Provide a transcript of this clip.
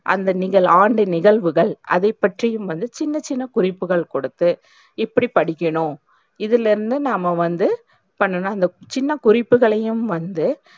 அந்த நீங்கள் ஆண்ட நிகழ்வுகள் அதைப்பற்றியும் வந்து சின்ன சின்ன குறிப்புகள் குடுத்து எப்டி படிக்கணும் இதுலருந்து நாம்ம வந்து பண்ணனும் சின்ன குறிப்புகளையும் வந்து,